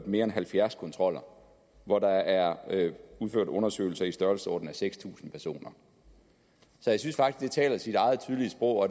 mere end halvfjerds kontroller hvor der er udført undersøgelser af i størrelsesordenen seks tusind personer så jeg synes faktisk det taler sit eget tydelige sprog og